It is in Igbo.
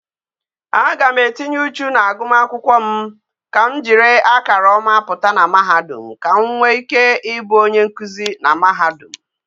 A ga m etinye uchu na aguma akwukwo m ka m jiri akara oma puta na mahadum ka nwe ike I bu onye nkuzi na mahadum